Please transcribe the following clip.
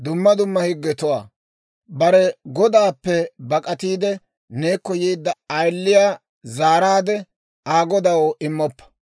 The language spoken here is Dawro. «Bare godaappe bak'atiide, neekko yeedda ayiliyaa zaaraade Aa godaw immoppa.